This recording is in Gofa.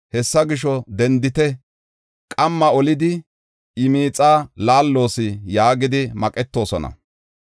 Hessa gisho, dendite! qamma olidi iya miixaa laalloos” yaagidi maqetoosona.